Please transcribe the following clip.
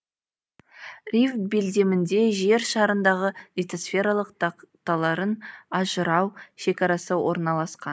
рифт белдемінде жер шарындағы литосфералық тақталарын ажырау шекарасы орналасқан